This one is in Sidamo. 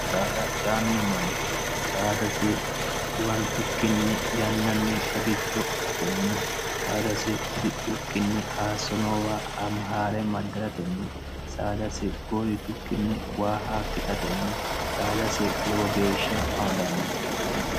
saada cianno manchi saadasi iwantukkinni yannanni qagicho qasatenni saadasi hudidhukkinni aasso noowa hamihaa're maddiratenni saadasi goritukkinni waa haakkisatenni saadasi lowo geeshsha amadanno